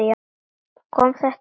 Kom þetta á óvart?